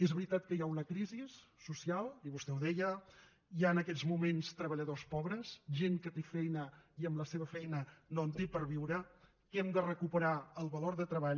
és veritat que hi ha una crisi social i vostè ho deia hi ha en aquests moments treballadors pobres gent que té feina i amb la seva feina no en té per viure que hem de recuperar el valor de treball